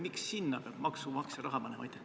Miks sinna peab maksumaksja raha panema?